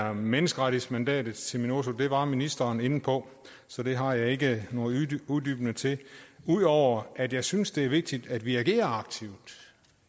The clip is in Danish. er menneskerettighedsmandatet til minurso det var ministeren inde på så det har jeg ikke noget uddybende til ud over at jeg synes at det er vigtigt at vi agerer aktivt